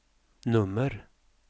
nummer